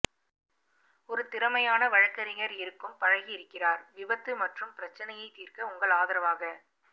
ஒரு திறமையான வழக்கறிஞர் இருக்கும் பழகியிருக்கிறார் விபத்து மற்றும் பிரச்சினையை தீர்க்க உங்கள் ஆதரவாக